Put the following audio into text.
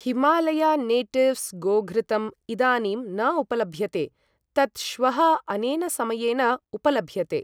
Himalaya natives गोघृतम् इदानीं न उपलभ्यते, तत् श्वः अनेन समयेन उपलभ्यते।